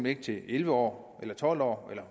ikke til elleve år eller tolv år eller